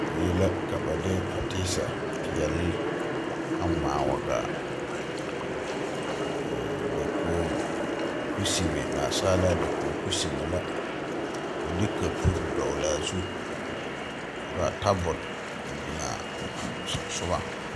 Die la ka ba de pateesa peɛɛl a ngmaa wa gaa ee dakoge kusimɛ naasaalaa dakoge kusimɛ la ka ba de kapure dɔgle a zu ka ba tabol a biŋaa a sonsugɔŋ.